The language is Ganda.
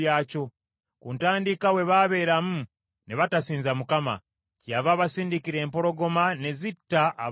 Ku ntandikwa bwe babeeramu ne batasinza Mukama , kyeyava abasindikira empologoma ne zitta abamu ku bo.